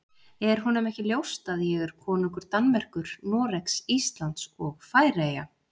Er honum ekki ljóst að ég er konungur Danmerkur, Noregs, Íslands og Færeyja?